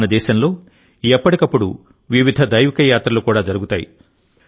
మన దేశంలోఎప్పటికప్పుడువివిధ దైవిక యాత్రలు కూడా జరుగుతాయి